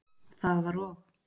Það var og.